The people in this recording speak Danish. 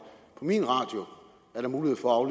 på min radio er der mulighed for